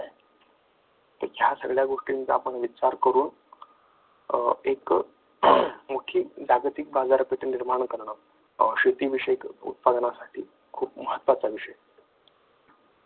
तर ह्या सगळ्या गोष्टींचा आपण विचार करून एक मोठी जागतिक बाजारपेठ निर्माण करणे शेतीविषयक उत्पादनासाठी खूप महत्त्वाचा विषय आहे.